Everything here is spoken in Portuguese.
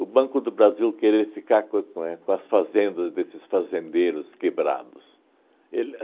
Banco do Brasil querer ficar co com é com as fazendas desses fazendeiros quebrados. Ele